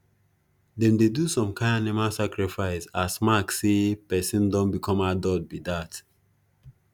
them dey do some kin animal sacrifice as mark say person don become adult be dat